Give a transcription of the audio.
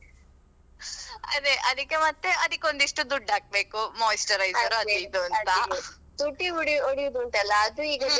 ಅದೇ ಅದಕ್ಕೆ ಮತ್ತೆ ಅದಕ್ಕೆ ಒಂದಿಷ್ಟು ದುಡ್ಡು ಹಾಕ್ಬೇಕು moisturizer ಅದು ಇದು ಅಂತ.